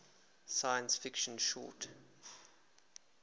science fiction short